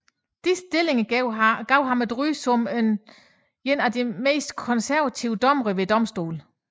Disse stillinger gav ham et ry som en af de mest konservative dommere ved domstolen